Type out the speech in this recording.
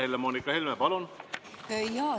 Helle-Moonika Helme, palun!